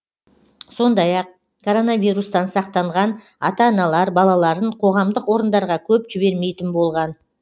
сондай ақ коронавирустан сақтанған ата аналар балаларын қоғамдық орындарға көп жібермейтін болған